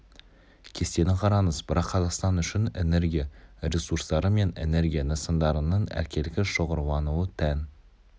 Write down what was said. кестені қараңыз бірақ қазақстан үшін энергия русурстары мен энергия нысандарының әркелкі шоғырлануы тән